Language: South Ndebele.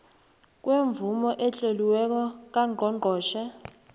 kwemvumo etloliweko kangqongqotjhe